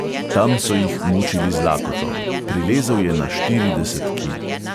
Tam so jih mučili z lakoto, prilezel je na štirideset kil.